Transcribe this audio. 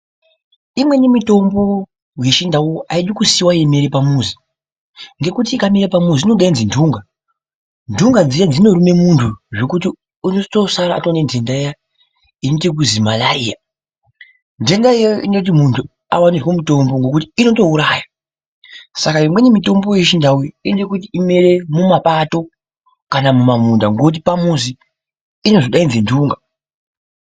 Imweni mitombo wechindau aidi kusiya yeimera pamuzi, ngekuti ikamera pamuzi inodaidza nhunga. Nhunga dziya dzinoruma muntu zvekuti unotozosara aane nhenda iya inoita ekuzi Malaria. Nhenda iyoyo inotI kuti muntu awanirwe mutombo, ngekuti inotouraya. Saka imweni mitombo yechiNdau inoda kuti imere mumapato kana mumamunda ngekuti pamuzi inozodaidza nhunga.